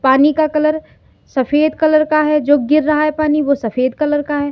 पानी का कलर सफेद कलर का है जो गिर रहा है पानी वो सफेद कलर का है।